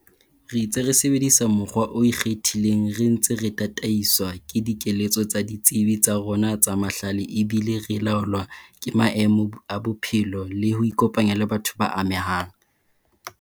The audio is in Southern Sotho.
Re itse re sebedisa mokgwa o iketlileng re ntse re tataiswa ke dikeletso tsa ditsebi tsa rona tsa mahlale ebile re laolwa ke maemo a bophelo le ho ikopanya le batho ba amehang.